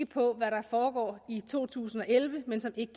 på hvad der foregår i to tusind og elleve men som ikke